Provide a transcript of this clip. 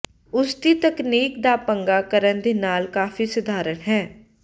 ਉਸ ਦੀ ਤਕਨੀਕ ਦਾ ਪੰਗਾ ਕਰਨ ਦੇ ਨਾਲ ਕਾਫ਼ੀ ਸਧਾਰਨ ਹੈ